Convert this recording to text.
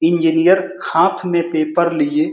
engineer हाथ में paper लिए --